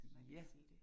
Ja